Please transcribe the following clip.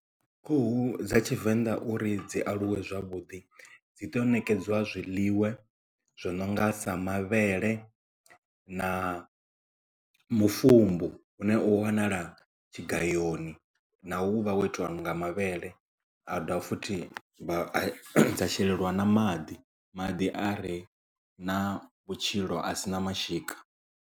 Khuhu dza tshivenḓa uri dzi aluwe zwavhuḓi dzi tea u nekedzwa zwiḽiwa zwi no nga sa mavhele na mufumbu une u wanala tshigayoni na wo uvha ho itiwa nga mavhele a dovha futhi a dza shelelwa na maḓi maḓi a re na vhutshilo a sina mashika.